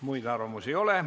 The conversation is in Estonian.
Muid arvamusi ei ole.